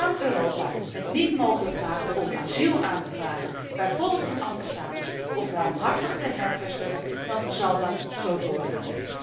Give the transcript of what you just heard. Zolang Europa het niet mogelijk maakt om asiel aan te vragen, bijvoorbeeld in ambassades, of ruimhartig te hervestigen, dan zal dat zo doorgaan.